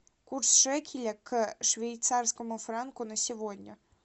курс шекеля к швейцарскому франку на сегодня